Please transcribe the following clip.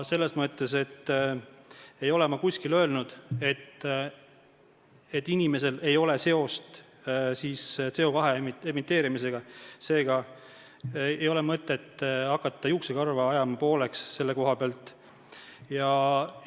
Ma ei ole kuskil öelnud, et inimesel ei ole seost CO2 emiteerimisega, seega ei ole mõtet hakata selle koha pealt juuksekarva pooleks ajama.